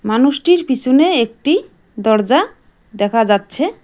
মানুষটির পিছনে একটি দরজা দেখা যাচ্ছে।